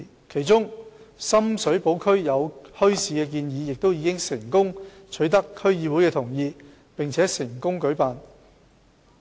其中，在深水埗區設立墟市的建議已取得區議會的同意，並已成功舉辦。